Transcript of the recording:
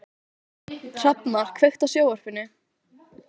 Hrafnar, kveiktu á sjónvarpinu.